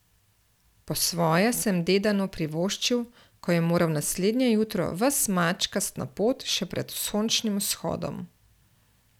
Po svoje sem Dedanu privoščil, ko je moral naslednje jutro ves mačkast na pot še pred sončnim vzhodom.